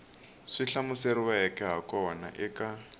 swi hlamuseriweke ha kona eka